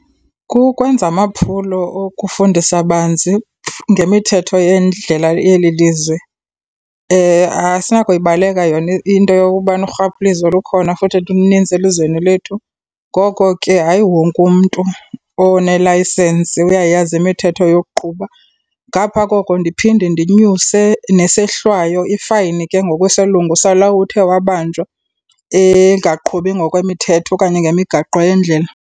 Kukwenza amaphulo okufundisa banzi ngemithetho yendlela yeli lizwe. Asinakuyibaleka yona into yokukubana urhwaphilizo lukhona futhi lunintsi elizweni lethu. Ngoko ke, hayi wonke umntu onelayisensi uyayazi imithetho yokuqhuba. Ngapha koko ndiphinde ndinyuse nesehlwayo ifayini ke ngokwesilungu salowo uthe wabanjwa engaqhubi ngokwemithetho okanye ngemigaqo yendlela.